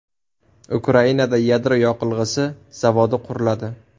Ukrainada yadro yoqilg‘isi zavodi quriladi.